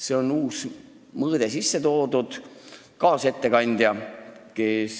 Siia on uus mõõde sisse toodud!